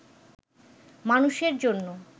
মানুষের জন‍্য